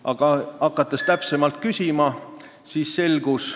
Aga kui me hakkasime täpsemalt küsima, siis ...